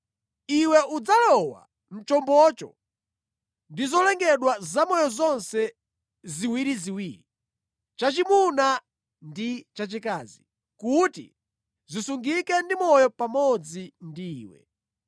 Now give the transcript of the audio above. Iwe udzalowa mʼchombocho ndi zolengedwa zamoyo zonse ziwiriziwiri, chachimuna ndi chachikazi, kuti zisungike ndi moyo pamodzi ndi iwe.